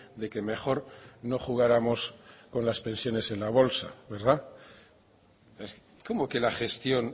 de que mejor no jugáramos con las pensiones en la bolsa verdad cómo que la gestión